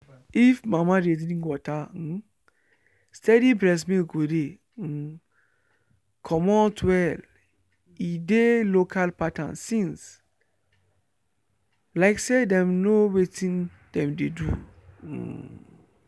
if mama dey drink water um steady breast milk go de um comot well e dey local pattern since like say dem know wetin dem dey do. um